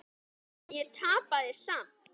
En ég tapaði samt.